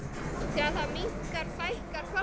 Þegar það minnkar fækkar fálkum.